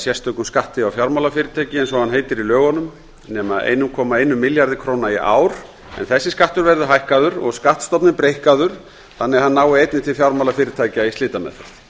sérstökum skatti á fjármálafyrirtæki eins og hann heitir í lögunum nema eitt komma eitt milljarði króna í ár þessi skattur verður hækkaður og skattstofninn breikkaður þannig að hann nái einnig til fjármálafyrirtækja í slitameðferð